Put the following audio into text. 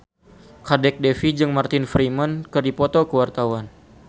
Kadek Devi jeung Martin Freeman keur dipoto ku wartawan